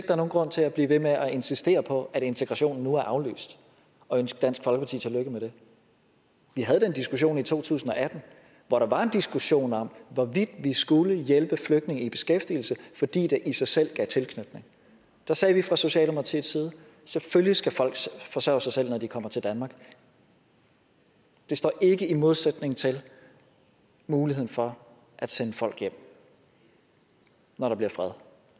er nogen grund til at blive ved med at insistere på at integrationen nu er aflyst og ønske dansk folkeparti tillykke med det vi havde den diskussion i to tusind og atten hvor der var en diskussion om hvorvidt vi skulle hjælpe flygtninge i beskæftigelse fordi det i sig selv gav tilknytning da sagde vi fra socialdemokratiets side selvfølgelig skal folk forsørge sig selv når de kommer til danmark det står ikke i modsætning til muligheden for at sende folk hjem når der bliver fred